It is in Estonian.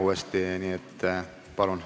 Palun!